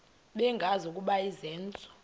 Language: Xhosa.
bengazi ukuba izenzo